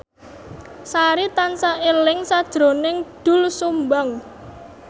Sari tansah eling sakjroning Doel Sumbang